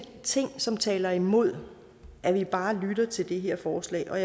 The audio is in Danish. ting som taler imod at vi bare lytter til det her forslag og